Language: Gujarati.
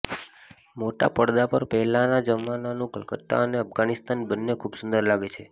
મોટા પરદા પર પહેલાનાં જમાનાનું કલકત્તા અને અફઘાનિસ્તાન બંને ખૂબ સુંદર લાગે છે